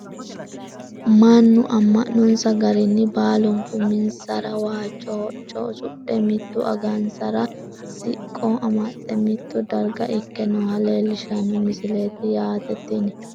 mannu amma'nonsa garinni baalunku uminsara waajjo hocce usudhe mitu angansara siqqo amaxxe mitto darga ikke nooha leelishshanno misileeti yaate tini.